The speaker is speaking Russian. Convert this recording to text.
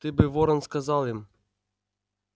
ты бы ворон сказал им